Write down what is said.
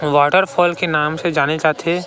ये वाटरफॉल के नाम से जाने जाथे--